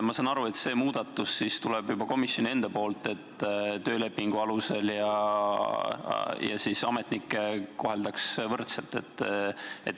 Ma saan aru, et see muudatus tuleb komisjoni enda poolt, et töölepingu alusel töötajaid ja ametnikke koheldaks võrdselt.